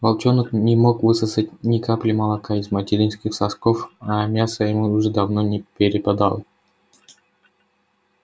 волчонок не мог высосать ни капли молока из материнских сосков а мяса ему уже давно не перепадало